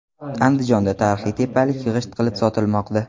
Andijonda tarixiy tepalik g‘isht qilib sotilmoqda .